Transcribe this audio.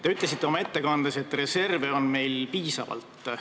Te ütlesite oma ettekandes, et reserve on meil piisavalt.